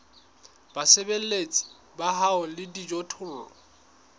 basebeletsi ba hao le dijothollo